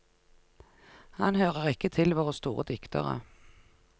Han hører ikke til våre store diktere.